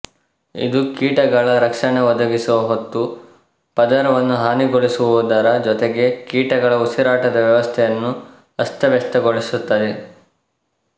ಇದು ಕೀಟಗಳ ರಕ್ಷಣೆ ಒದಗಿಸುವ ಹೊತ್ತು ಪದರವನ್ನು ಹಾನಿಗೊಳಿಸುವುದರ ಜೊತೆಗೆ ಕೀಟಗಳ ಉಸಿರಾಟದ ವ್ಯವಸ್ಥೆಯನ್ನು ಅಸ್ತವ್ಯಸ್ತಗೊಳಿಸುತ್ತದೆ